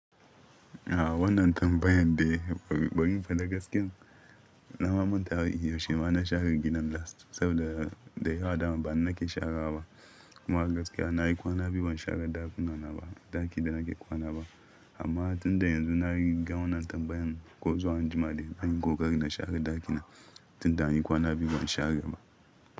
A wannan tambayan dai baɗi baɗin faɗa gaskiya, na mamanta yashe ima na share gidan last saboda da yawa dama bani na ke sharewa ba. Kuma gaskiya na yi kwana biyu ban share ɗakuna na ba, ɗaki da na ke kwana ba. Amma tunda yanzu na yi ga wannan tambayan, ko zuwa anjima dai zanyi kokari na share ɗakina tunda an yi kwana biyu ban share ba.